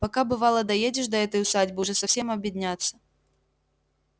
пока бывало доедешь до этой усадьбы уже совсем обедняться